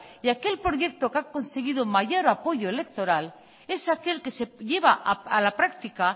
y aquel proyecto que ha conseguido mayor apoyo electoral es aquel que se lleva a la práctica